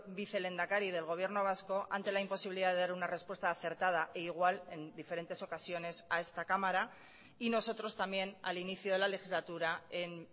vicelehendakari del gobierno vasco ante la imposibilidad de dar una respuesta acertada e igual en diferentes ocasiones a esta cámara y nosotros también al inicio de la legislatura en